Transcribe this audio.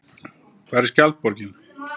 Hvar er Skjaldborgin?